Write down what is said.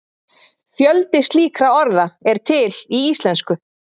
fjöldi slíkra orða er til í íslensku